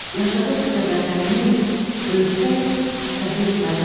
Yaşadıqca Vətənimiz, ölsək şəhid məzarımız.